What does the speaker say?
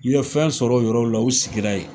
U ye fɛn sɔrɔ o yɔrɔw la, u sigila yen.